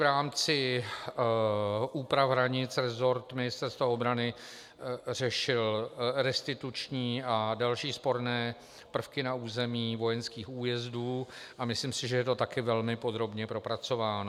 V rámci úprav hranic resort Ministerstva obrany řešil restituční a další sporné prvky na území vojenských újezdů a myslím si, že je to také velmi podrobně propracováno.